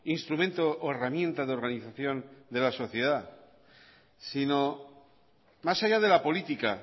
instrumento o herramienta de organización de la sociedad si no más allá de la política